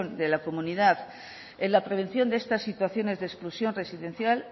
de la comunidad en la prevención de estas situaciones de exclusión residencial